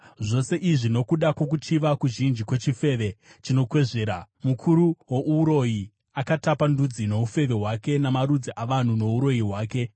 Zvose izvi nokuda kwokuchiva kuzhinji kwechifeve, chinokwezvera, mukuru wouroyi, akatapa ndudzi noufeve hwake namarudzi avanhu nouroyi hwake.